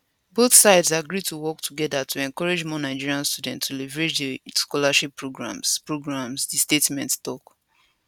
both sides agree to work togeda to encourage more nigerian students to leverage dis scholarship programmes programmes di statement tok